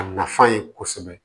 A nafa ye kosɛbɛ